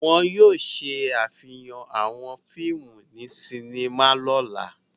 Wọn yóò ṣàfihàn àwọn fíìmù ní sinima lọ́la.